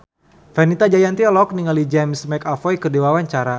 Fenita Jayanti olohok ningali James McAvoy keur diwawancara